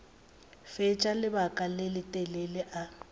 fetša lebaka le letelele a